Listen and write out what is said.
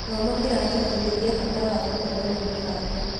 Gĩthomo kĩratũbundithia bata wa gũkorwo na mĩbango.